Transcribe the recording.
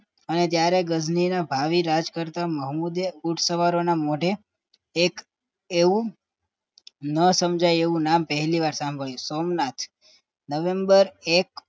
અને ત્યારે ગજની ભાવી રાજ કરતાં મોહમ્મદે ઊંટ સવારો ના મોડે એક એવું ન સમજાય એવું નામ સાંભળ્યું સોમનાથ નવેમ્બર એક